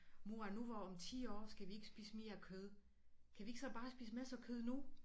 Mor nu hvor om 10 år skal vi ikke spise mere kød kan vi ikke så bare spise masser kød nu